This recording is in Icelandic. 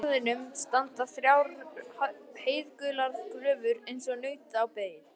Í garðinum standa þrjár heiðgular gröfur eins og naut á beit.